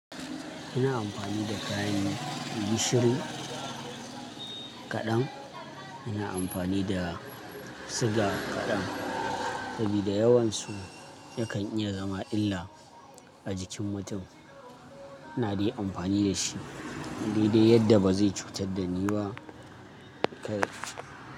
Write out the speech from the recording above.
Ina amfani da kayan gishiri kaɗan, ina amfani da siga kaɗan sabida yawansu yakan iya zama illa a jikin mutum. Ina dai amfani da shi dai dai yadda ba zai cutar da ni ba.